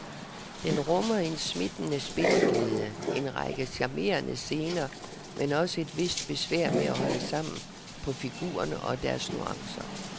Den rummer en smittende spilleglæde, en række charmerende scener, men også et vist besvær med at holde sammen på figurerne og deres nuancer.